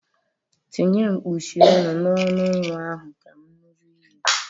Tinye kpuchie ọnụ n'ọnụ nwa ahụ ka m nụrụ ihe!